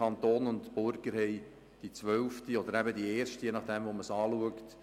Das haben Sie am 29. 01. 2010 hier im Grossen Rat beschlossen.